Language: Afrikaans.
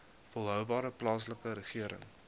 volhoubare plaaslike regering